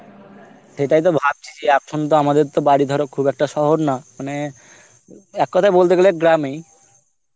সেটাই তো ভাবছি যে এখন তো আমাদের তো বাড়ি ধরো খুব একটা শহর না মানে এক কথায় বলতে গেলে গ্রাম এই